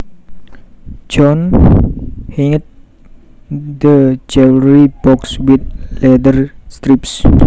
John hinged the jewelry box with leather strips